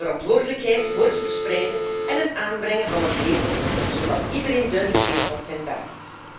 We verdelen de verantwoordelijkheid voor het verspreiden en het aanbrengen van het label, zodat iedereen duidelijk weet wat zijn taak is.